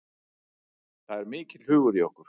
Það er mikill hugur í okkur